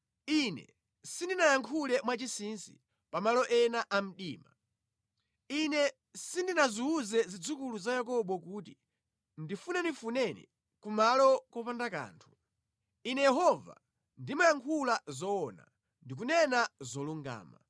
Ine sindinayankhule mwachinsinsi, pamalo ena a mdima; Ine sindinaziwuze zidzukulu za Yakobo kuti, “Ndifunefuneni ku malo kopanda kanthu.” Ine Yehova, ndimayankhula zoona; ndikunena zolungama.